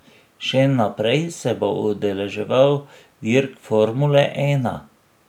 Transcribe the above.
Še naprej se bo udeleževal dirk formule ena.